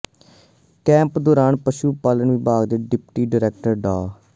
camp ਦੌਰਾਨ ਪਸ਼ੂ ਪਾਲਣ ਵਿਭਾਗ ਦੇ ਡਿਪਟੀ ਡਾਇਰੈਕਟਰ ਡਾ